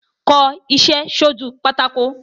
Kọṣẹ́ sójú pátákó